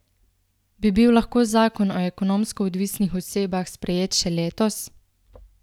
Bi bil lahko zakon o ekonomsko odvisnih osebah sprejet še letos?